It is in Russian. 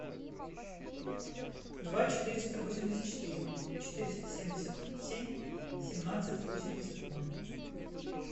два четыреста восемьдесят четыре четыреста семьдесят семь семнадцать восемьдесят ноль